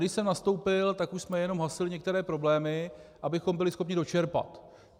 Když jsem nastoupil, tak už jsme jenom hasili některé problémy, abychom byli schopni dočerpat.